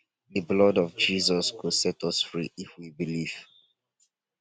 the blood of jesus go set us free if we believe